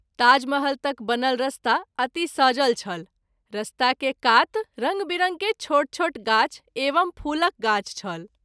ताजमहल तक बनल रास्ता अति सजल छल रास्ता के कात रंग विरंग के छोट छोट गाछ एवं फूलक गाछ छल।